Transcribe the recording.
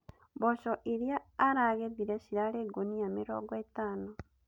Mboco iria aragethire cirarĩ ngũnia mĩrongo ĩtano